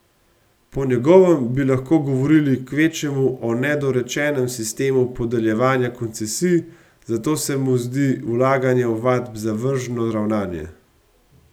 Po njegovem bi lahko govorili kvečjemu o nedorečenem sistemu podeljevanja koncesij, zato se mu zdi vlaganje ovadb zavržno ravnanje.